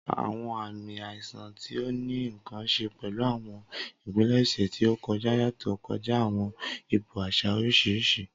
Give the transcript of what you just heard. Awọn aami aisan ti o ni nkan ṣe pẹlu awọn ipilẹṣẹ ti o kọja yatọ kọja awọn ipo aṣa oriṣiriṣi.